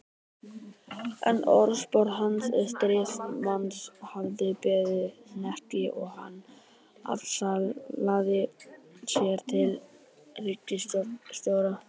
En orðspor hans sem stríðsmanns hafði beðið hnekki og hann afsalaði sér titli ríkisstjóra.